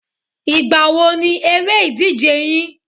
Ìgbà wo ni eré ìdíje yín?